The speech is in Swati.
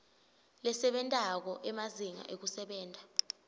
lesebentako emazinga ekusebenta